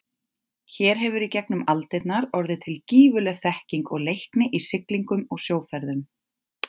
Hér hefur í gegnum aldirnar orðið til gífurleg þekking og leikni í siglingum og sjóferðum.